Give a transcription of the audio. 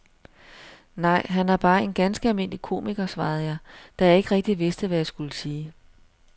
Nej, han er bare en ganske almindelig komiker, svarede jeg, da jeg ikke rigtig vidste, hvad jeg skulle sige.